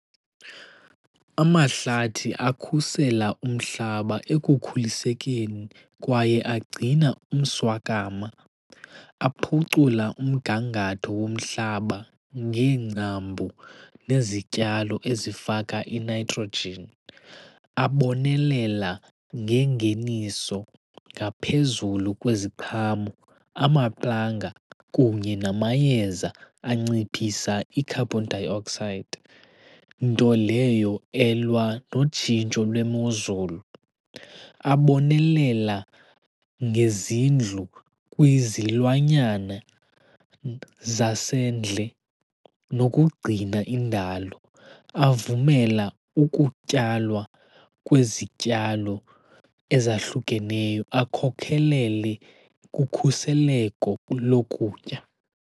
Amahlathi akhusela umhlaba ekukhulisekeni kwaye agcina umswakama. Aphucula umgangatho womhlaba ngeengcambu nezityalo ezifaka iNitrogen. Abonelela ngengeniso ngaphezulu kweziqhamo, amaplanga kunye namayeza anciphisa i-carbon dioxide, nto leyo elwa notshintsho lwemozulu. Abonelela ngezindlu kwizilwanyana zasendle nokugcina indalo. Avumela ukutyalwa kwezityalo ezahlukeneyo akhokhelele kukhuseleko lokutya.